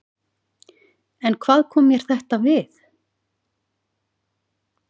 En hvað kom mér þetta við?